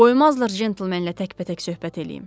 Qoymazlar centlmenlə təkbətək söhbət eləyim.